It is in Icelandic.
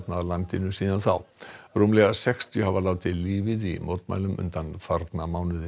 í landinu síðan þá rúmlega sextíu hafa látið lífið í mótmælum undanfarna mánuði